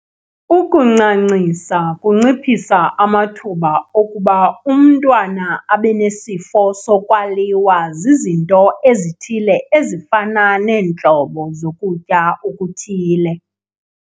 Ukuncancisa kunciphisa amathuba okuba umntwana abe nesifo sokwaliwa zizinto ezithile ezifana neentlobo zokutya okuthile.